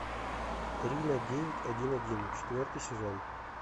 рино девять один один четвертый сезон